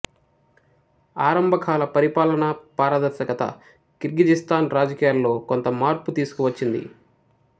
ఆరంభకాల పరిపాలన పారదర్శకత కిర్గిజిస్తాన్ రాజకీయాలలో కొంత మార్పు తీసుకువచ్చింది